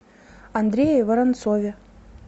андрее воронцове